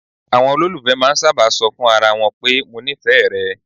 Àwọn olólùfẹ́ máà ń sábà ṣọ fún ara wọn pé "mo nífẹ̀ẹ́ rẹ".